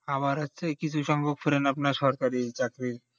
আবার হচ্ছে কিছু সংখ্যক পড়েন আপনার সরকারি চাকরি